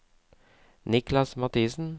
Niklas Mathiesen